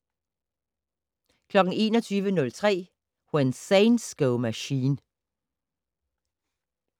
21:03: When Saints Go Machine